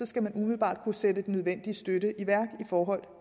skal man umiddelbart kunne sætte den nødvendige støtte i værk i forhold